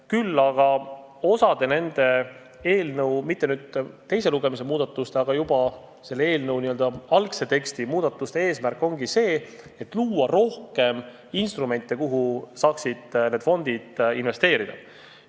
Küll aga osa selle eelnõu muudatuste – mitte teise lugemise käigus tehtud muudatuste, vaid juba algses tekstis olnud muudatuste – eesmärk ongi luua rohkem instrumente, kuhu need fondid saaksid investeerida.